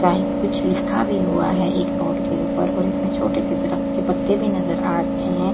Type कुछ लिखा भी हुआ है एक बोर्ड के ऊपर और इसमें छोटे से दरख़्त के पत्ते भी नजर आ रहे हैं।